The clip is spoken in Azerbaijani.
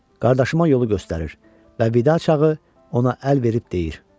Qardaşıma yolu göstərir və Vidaçı ona əl verib deyir: